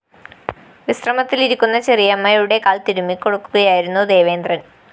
വിശ്രമത്തിലിരിക്കുന്ന ചെറിയമ്മയുടെ കാല്‍ തിരുമ്മിക്കൊടുക്കുകയായിരുന്നു ദേവേന്ദ്രന്‍